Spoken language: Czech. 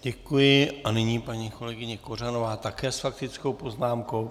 Děkuji a nyní paní kolegyně Kořanová také s faktickou poznámkou.